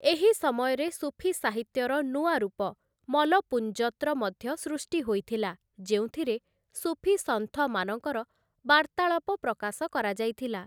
ଏହି ସମୟରେ ସୁଫି ସାହିତ୍ୟର ନୂଆ ରୂପ 'ମଲପୁଂଜତ୍‌'ର ମଧ୍ୟ ସୃଷ୍ଟି ହୋଇଥିଲା, ଯେଉଁଥିରେ ସୁଫି ସନ୍ଥମାନଙ୍କର ବାର୍ତ୍ତାଳାପ ପ୍ରକାଶ କରାଯାଇଥିଲା ।